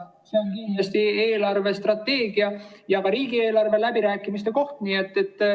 See on kindlasti eelarvestrateegia ja ka riigieelarve läbirääkimiste koht.